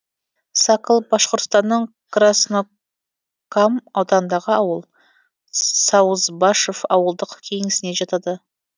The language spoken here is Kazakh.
сакл башқұртстанның красно кам ауданындағы ауыл саузбашев ауылдық кеңесіне жатады